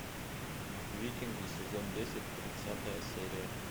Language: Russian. викинги сезон десять тридцатая серия